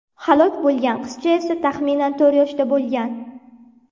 Halok bo‘lgan qizcha esa taxminan to‘rt yoshda bo‘lgan.